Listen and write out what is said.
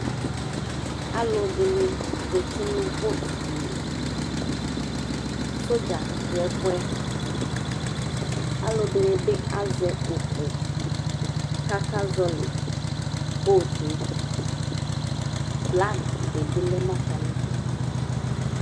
Alʋɛdɩnɩ zati nʋ botdini Sodza dʋ ɛfʋ yɛ Alʋdɩnɩ bɩ azɛ ʋkʋ kʋ akazɔɣɔlɩ bot yɛ Flag dɩ bɩ lɛ nʋ atamɩdu